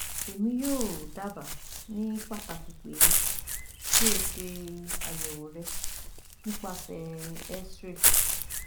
Emi yoo daba ni pataki pe ki o se ayewo re nipasẹ x-ray